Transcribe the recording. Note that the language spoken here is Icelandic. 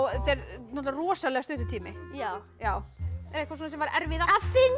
þetta er náttúrulega rosalega stuttur tími já já eitthvað sem var erfiðast